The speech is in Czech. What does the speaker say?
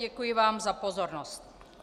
Děkuji vám za pozornost.